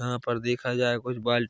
यहाँ पर देखा जाय कुछ बाल--